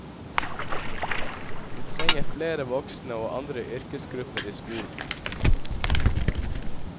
Vi trenger flere voksne og andre yrkesgrupper i skolen.